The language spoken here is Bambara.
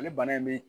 Ale bana in bɛ